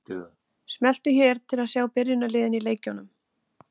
Smelltu hér til að sjá byrjunarliðin í leikjunum.